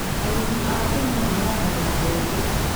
Arĩmi a Kenya mahandaga mbembe.